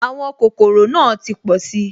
Àwọn kòkòrò náà ti pọ̀si